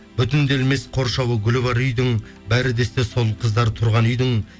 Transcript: бүтінделмес қоршауы гүлі бар үйдің бәрі де есте сол қыздар тұрған үйдің